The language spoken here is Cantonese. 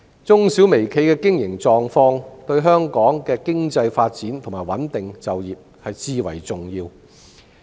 中小微企的經營狀況，對香港的經濟發展和穩定就業至為重要。